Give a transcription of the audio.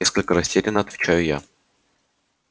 несколько растеряно отвечаю я